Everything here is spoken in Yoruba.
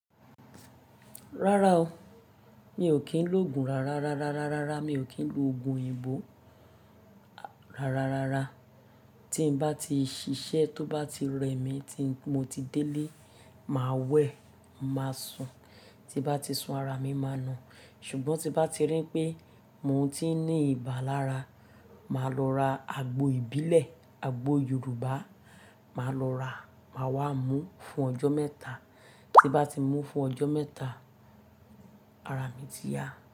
Rárá o, mi ò kí ń lòògùn rara, rara, rara, mi ò kí ń loogùn òyìnbó rara, rara. Tí n bá ti ṣiṣẹ́ to bá ti rẹ mí tí mo ti délé, màá wẹ̀, màá sùn, tí n bá ti sun ara mi, màá na. Ṣùgbọ́n tí n bá ti rí n pé mò ń ti ní ibà lára, màá lọ ra àgbo ìbílẹ̀, àgbo Yorùbá, màá lọ rà, màá wá mú fún ọjọ́ mẹ́ta. Tí n bá ti mú fún ọjọ́ mẹ́ta, ara mi ti yá.